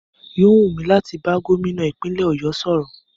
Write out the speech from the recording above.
Yóò wú mí láti bá Gómìnà ìpínlẹ̀ ọ̀yọ́ sọ̀rọ̀.